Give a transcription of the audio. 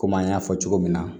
Komi an y'a fɔ cogo min na